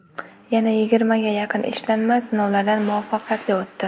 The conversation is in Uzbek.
Yana yigirmaga yaqin ishlanma sinovlardan muvaffaqiyatli o‘tdi.